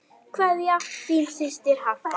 Kveðja, þín systir Harpa.